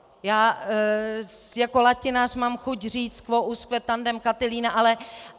Já jako latinář mám chuť říct: Quo usque tandem, Catilina?